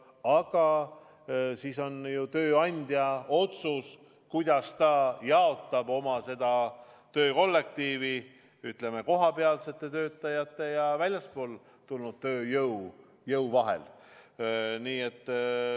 Aga on tööandja otsustada, kuidas ta jaotab oma töökollektiivi, kui palju on kohapealseid töötajaid ja kui palju väljastpoolt tulnud tööjõudu.